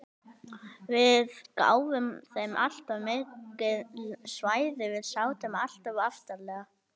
Við gáfum þeim alltof mikil svæði, við sátum alltof aftarlega.